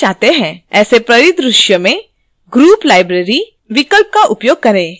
ऐसे परिदृश्य में group library विकल्प का उपयोग करें